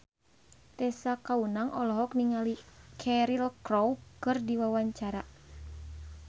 Tessa Kaunang olohok ningali Cheryl Crow keur diwawancara